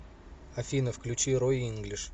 афина включи рой инглиш